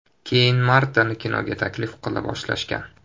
Keyin Martani kinoga taklif qila boshlashgan.